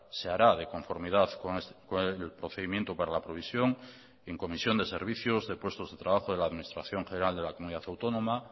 se hará de conformidad con el procedimiento para la provisión en comisión de servicios de puestos de trabajo de la administración general de la comunidad autónoma